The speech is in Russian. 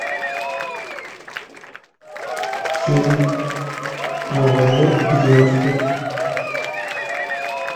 фильм про войну и девочку